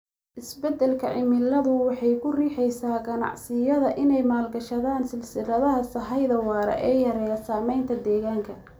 Isbeddelka cimiladu waxay ku riixaysaa ganacsiyada inay maalgashadaan silsiladaha sahayda waara ee yareeya saamaynta deegaanka.